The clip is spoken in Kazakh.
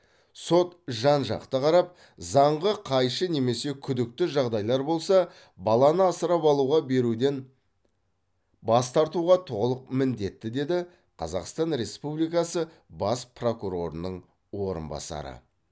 сот жан жақты қарап заңға қайшы немесе күдікті жағдайлар болса баланы асырап алуға беруден бас тартуға толық міндетті деді қазақстан республикасы бас прокурорының орынбасары